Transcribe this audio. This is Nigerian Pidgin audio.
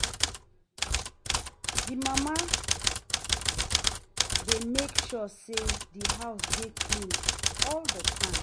The mama de make sure say di house dey clean all the time